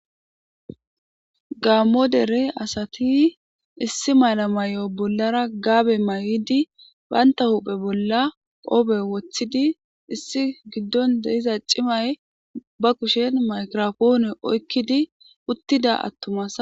Gaammo dere asati issi mala may7o bollara gaabe may7idi baynta huphe bolla qoobe woththidi issi giddon dehiza cimay ba kushen maykrafoone oykkidi uttida attumas.